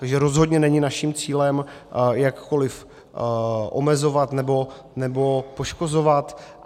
Takže rozhodně není naším cílem jakkoliv omezovat nebo poškozovat.